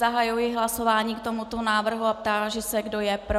Zahajuji hlasování k tomuto návrhu a táži se, kdo je pro.